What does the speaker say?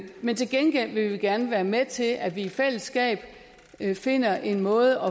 men til gengæld vil vi gerne være med til at vi i fællesskab finder en måde